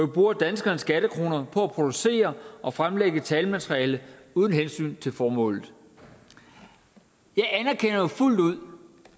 bruger danskernes skattekroner på at producere og fremlægge talmateriale uden hensyn til formålet jeg anerkender jo fuldt ud